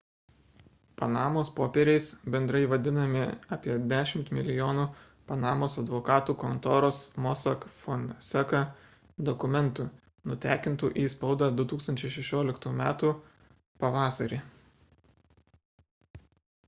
panamos popieriais bendrai vadinami apie dešimt milijonų panamos advokatų kontoros mossack fonseca dokumentų nutekintų į spaudą 2016 metų pavasarį